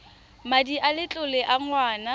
madi a letlole a ngwana